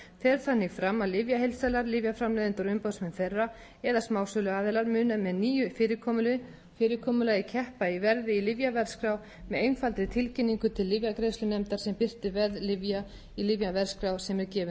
fer þannig fram að lyfjaheildsalar lyfjaframleiðendur og umboðsmenn þeirra eða smásöluaðilar munu með nýju fyrirkomulagi keppa í verði í lyfjaverðskrá með einfaldri tilkynningu til lyfjagreiðslunefndar sem birtir verð lyfja í lyfjaverðskrá sem er gefin út mánaðarlega meiri